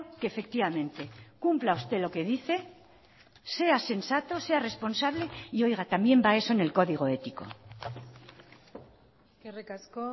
que efectivamente cumpla usted lo que dice sea sensato sea responsable y oiga también va eso en el código ético eskerrik asko